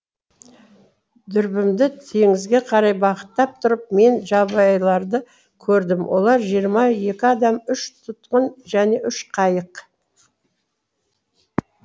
дүрбімді теңізге қарай бағыттап тұрып мен жабайыларды көрдім олар жиырма екі адам үш тұтқын және үш қайық